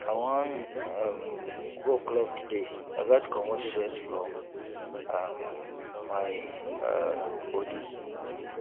i wan um go club today i gats comot stress from um my um bodi